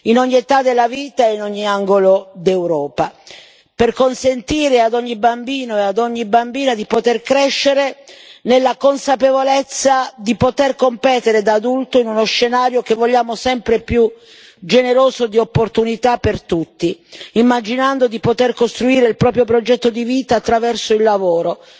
in ogni età della vita e in ogni angolo d'Europa, per consentire ad ogni bambino e ad ogni bambina di poter crescere nella consapevolezza di poter competere da adulto in uno scenario che vogliamo sempre più generoso di opportunità per tutti, immaginando di poter costruire il proprio progetto di vita attraverso il lavoro,